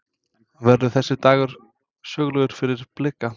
Verður þessi dagur sögulegur fyrir Blika?